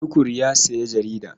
Tukur ya sayi jarida.